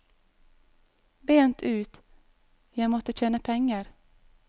Bent ut, jeg måtte tjene penger.